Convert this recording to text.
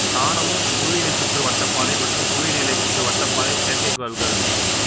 காணவும் புவி இணைச்சுற்று வட்டப் பாதை மற்றும் புவி இணைநிலைச் சுற்று வட்டப் பாதை செயற்கைக்கோள்கள்